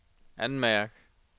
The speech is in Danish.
anmærk